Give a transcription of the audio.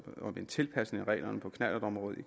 om en tilpasning af reglerne på knallertområdet